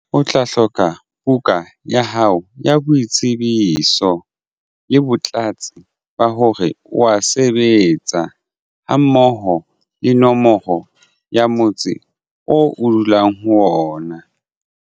O tla hloka buka ya hao ya boitsebiso le botlatsi ba hore wa sebetsa ha mmoho le nomoro ya motse o dulang ho ona.